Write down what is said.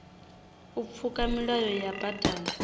u pfuka milayo ya badani